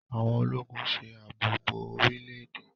Àwọn Ológùn ṣe ààbò bó orílè-èdè.